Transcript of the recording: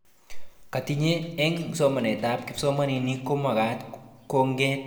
Katinyet eng somanetab kipsomanink komagat konget eng kwen eng muswonotet kotugul-kotoreti programishekab TPD ak keret